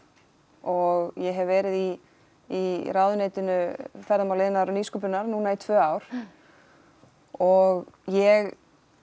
og ég hef verið í í ráðuneytinu ferðamála iðnaðar og nýsköpunar í tvö ár og ég